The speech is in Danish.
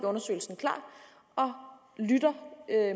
undersøgelsen klar og lytter